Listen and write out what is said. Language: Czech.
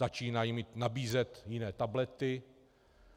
Začínají mi nabízet jiné tablety.